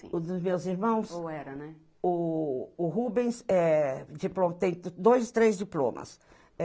Dos meus irmãos. Ou era né. O o Rubens é diplo tem dois, três diplomas.